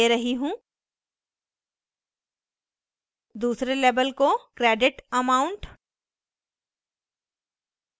दूसरे label को credit amount